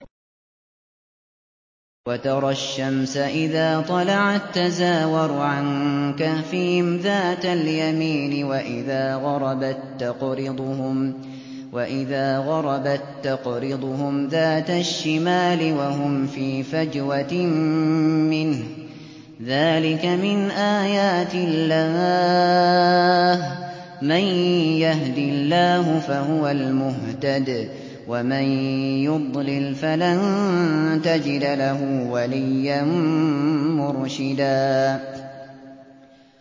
۞ وَتَرَى الشَّمْسَ إِذَا طَلَعَت تَّزَاوَرُ عَن كَهْفِهِمْ ذَاتَ الْيَمِينِ وَإِذَا غَرَبَت تَّقْرِضُهُمْ ذَاتَ الشِّمَالِ وَهُمْ فِي فَجْوَةٍ مِّنْهُ ۚ ذَٰلِكَ مِنْ آيَاتِ اللَّهِ ۗ مَن يَهْدِ اللَّهُ فَهُوَ الْمُهْتَدِ ۖ وَمَن يُضْلِلْ فَلَن تَجِدَ لَهُ وَلِيًّا مُّرْشِدًا